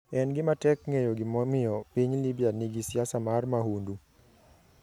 En gima tek ng'eyo gimomiyo piny Libya nigi siasa mar mahundu.